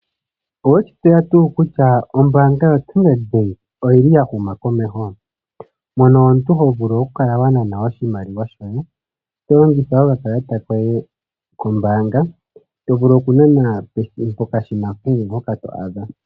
Owe shi tseya tuu kutya ombaanga yaStandard Bank oyi li ya huma komeho? Mono omuntu ho vulu okukala wa nana oshimaliwa shoye to longitha okakalata koye kombaanga, to vulu okunana pokashina kehe mpoka to adha.